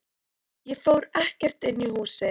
Ég fór ekkert inn í húsið.